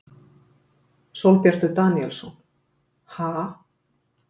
Sólbjartur Daníelsson: Ha?